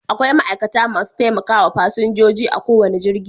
Akwai ma'aikata masu taimakawa fasinjoji a kowane jirgi